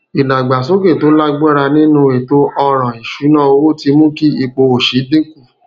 ìdàgbàsókè tó lágbára nínú ètò ọràn ìṣúnná owó ti mú kí ipò òṣì dín kù